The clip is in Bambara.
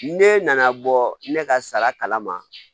Ne nana bɔ ne ka sara kala ma